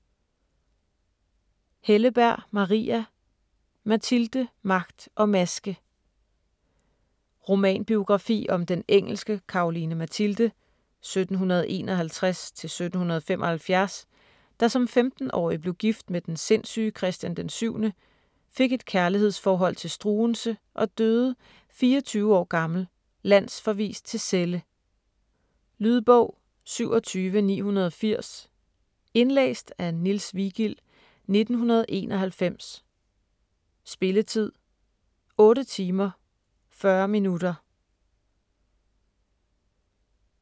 Helleberg, Maria: Mathilde, magt og maske Romanbiografi om den engelske Caroline Mathilde (1751-1775), der som 15-årig blev gift med den sindssyge Christian VII, fik et kærlighedsforhold til Struensee og døde 24 år gammel, landsforvist til Celle. Lydbog 27980 Indlæst af Niels Vigild, 1991. Spilletid: 8 timer, 40 minutter.